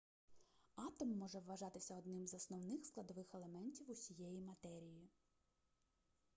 атом може вважатися одним з основних складових елементів усієї матерії